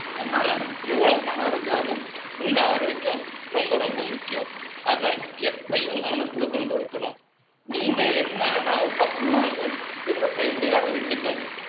அதனால, எவ்வளவு பணம் இருந்தாலும், உங்க ஆரோக்கியம், ரொம்ப, ரொம்ப முக்கியம். அதை, எப்பையும் கவனத்துல கொண்டு இருக்கணும். நீங்க, என்ன வேணாலும், சாப்பிடலாம்ன்னு, என்ன செய்ய முடியாம விட்டுட்டு,